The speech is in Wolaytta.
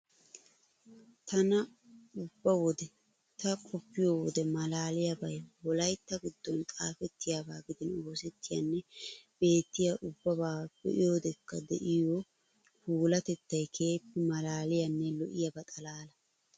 Tana ubna wode ta qoppiyo wode maalaaliyabay wolaytta giddon xaafettiyabaa gidin oosettiyanne beettiya ubbabaa be'iyodekka de'iya puulatettay keehippe maalaaliyanne lo'iyaba xalaala!